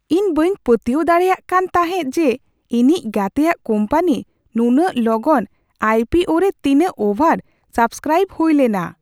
ᱤᱧ ᱵᱟᱹᱧ ᱯᱟᱹᱛᱭᱟᱹᱣ ᱫᱟᱲᱮᱭᱟᱫ ᱠᱟᱱ ᱛᱟᱦᱮᱸᱫ ᱡᱮ ᱤᱧᱤᱡ ᱜᱟᱛᱮᱭᱟᱜ ᱠᱳᱢᱯᱟᱱᱤ ᱱᱩᱱᱟᱹᱜ ᱞᱚᱜᱚᱱ ᱟᱭ ᱯᱤ ᱳ ᱨᱮ ᱛᱤᱱᱟᱹᱜ ᱳᱵᱷᱟᱨ ᱥᱟᱵᱽᱥᱠᱨᱟᱭᱤᱵᱽ ᱦᱩᱭ ᱞᱮᱱᱟ ᱾